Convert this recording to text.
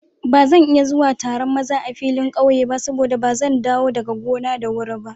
Ba zan iya zuwa Taron maza a filin ƙauye ba saboda ba zan dawo daga gona da wuri ba.